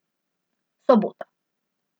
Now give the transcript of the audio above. Sobota.